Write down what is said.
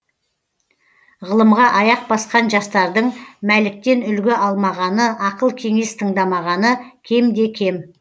ғылымға аяқ басқан жастардың мәліктен үлгі алмағаны ақыл кеңес тыңдамағаны кемде кем